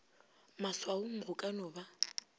maswaong go ka no ba